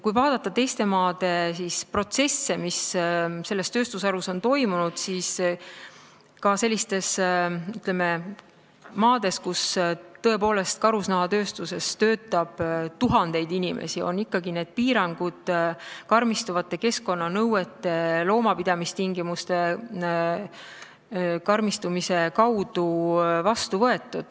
Kui vaadata protsesse, mis teistes maades on selles tööstusharus toimunud, siis näeme, et ka sellistes maades, kus karusnahatööstuses töötab tuhandeid inimesi, on need piirangud karmistuvate keskkonnanõuete ja loomapidamistingimuste kaudu vastu võetud.